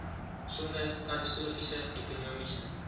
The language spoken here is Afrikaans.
sonder katastrofiese ekonomiese